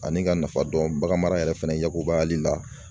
Ani ka nafa dɔn baganmara yɛrɛ fɛnɛ yakubayali la